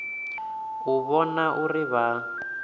u u vhona uri vha